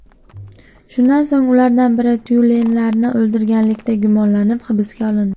Shundan so‘ng ulardan biri tyulenlarni o‘ldirganlikda gumonlanib hibsga olindi.